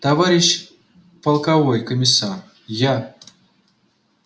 товарищ полковой комиссар я